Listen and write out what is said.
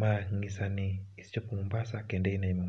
Ma nyisa ni ise chopo Mombasa kendo in ei Mombasa.